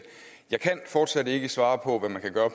jeg kan fortsat ikke svare på hvad man kan gøre